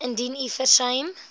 indien u versuim